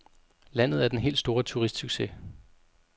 Landet er den helt store turistsucces.